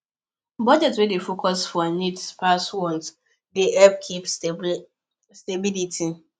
budgets wey dey focus for needs pass wants dey help keep stability